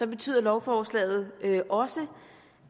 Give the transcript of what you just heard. betyder lovforslaget også